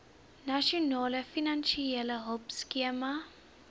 nasionale finansiële hulpskema